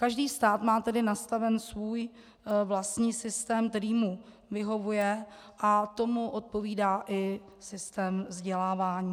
Každý stát má tedy nastaven svůj vlastní systém, který mu vyhovuje, a tomu odpovídá i systém vzdělávání.